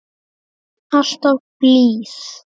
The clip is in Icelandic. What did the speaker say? Alltaf blíð.